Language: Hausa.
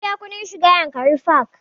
Mun biya kuɗin shiga yankari park